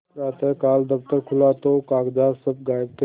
प्रातःकाल दफ्तर खुला तो कागजात सब गायब थे